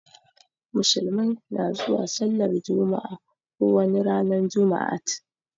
Musulmai na zuwa sallar jumma'a ko wani ranan jumaat.